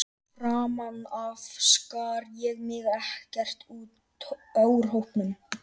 Framan af skar ég mig ekkert úr hópnum.